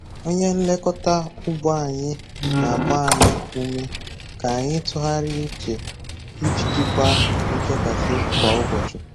Onye nlekọta ugbo anyị na-agba anyị ume ka anyị tụgharịa uche iji jikwaa nchekasị kwa ụbọchị.